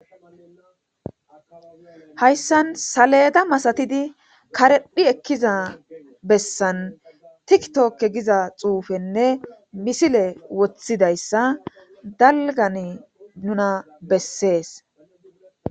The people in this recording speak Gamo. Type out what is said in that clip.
hayssan saleda masatidi karephi ekkiza bessan tiktokke giza xuufenne misile woththidayssa dalgan nuna bessees